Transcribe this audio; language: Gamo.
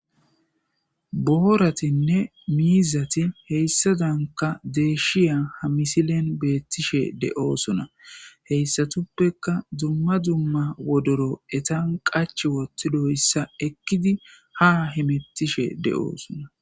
booratinne miizati heyssa danka deeshiya ha misilen beettishe de7oosuna heyssatuppeka dumma dzumma wodoro etan qach wottidoyssa ekkidi ha himettishe de7oosuna